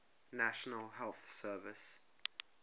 national health service